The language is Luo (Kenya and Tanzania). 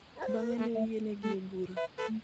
Bang�e, ne oyienegi e bura.